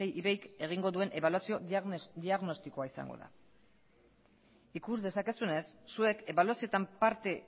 isei ivei k egingo duen ebaluazio diagnostikoa izango da ikus dezakezuenez zuek ebaluazioetan parte